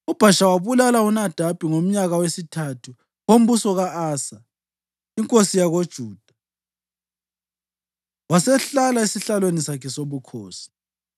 UBhasha wabulala uNadabi ngomnyaka wesithathu wombuso ka-Asa inkosi yakoJuda wasehlala esihlalweni sakhe sobukhosi.